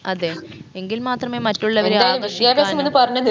അതെ എങ്കിൽ മാത്രമേ മറ്റുള്ളവരെ ആകർഷിക്കാനും